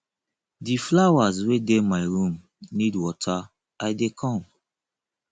the flowers wey dey my room need water i dey come